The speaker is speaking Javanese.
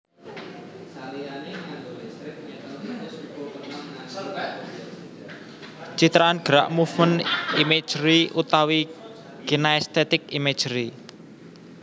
Citraan gerak movement imagery utawi kinaesthetic imagery